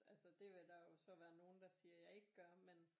Altså det vil der jo så være nogle der siger jeg ikke gør men